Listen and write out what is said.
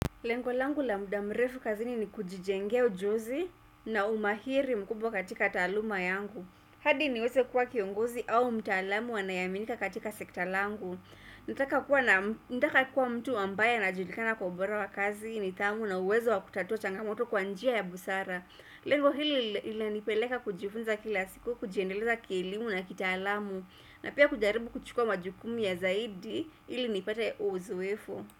Lengo langu la muda mrefu kazini ni kujijenga ujuzi na umahiri mkubwa katika taaluma yangu. Hadi niweze kuwa kiongozi au mtaalamu anayeaminika katika sekta langu. Nataka kuwa mtu ambaye anajulikana kwa ubora wa kazi nidhamu na uwezo wa kutatua changamoto kwa njia ya busara. Lengo hili linanipeleka kujifunza kila siku kujiendeleza kielimu na kitaalamu na pia kujaribu kuchukua majukumu ya zaidi ili nipate uzoefu.